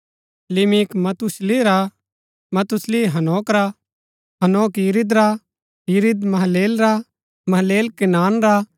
लिमिक मथूशिलह रा मथूशिलह हनोक रा हनोक यिरिद रा यिरिद महललेल रा महललेल केनान रा